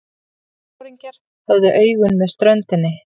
Sjóliðsforingjarnir höfðu augun með ströndinni.